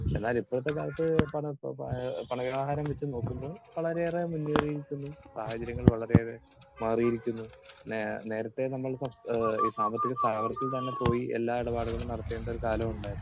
Speaker 2 എന്നാൽ ഇപ്പോഴത്തെ കാലത്ത് പണ, ആഹ് പണ വ്യവഹാരം വച്ചുനോക്കുമ്പോൾ വളരെയേറെ മുന്നേറിയിരിക്കുന്നു. സാഹചര്യങ്ങൾ വളരെയേറെ മാറിയിരിക്കുന്നു. നേ നേരത്തേ നമ്മൾ സാ ഈ സാമ്പത്തിക സ്ഥാപനത്തിൽ പോയി എല്ലാ ഇടപാടുകളും നടത്തേണ്ട ഒരു കാലമുണ്ടായിരുന്നു.